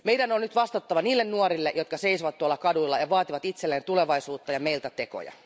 Meidän on nyt vastattava niille nuorille, jotka seisovat tuolla kaduilla ja vaativat itselleen tulevaisuutta ja meiltä tekoja.